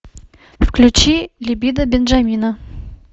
включи либидо бенджамина